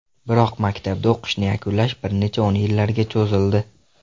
Biroq maktabda o‘qishni yakunlash bir necha o‘n yillarga cho‘zildi.